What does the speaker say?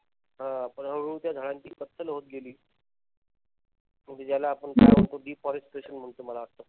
हां. पण हळूहळू त्या झाडांची कत्तल होत गेली. म्हणजे ज्याला आपण काय म्हणतो म्हणतो मला वाटत.